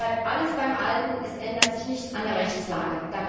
Es bleibt alles beim Alten es ändert sich nichts an der Rechtslage.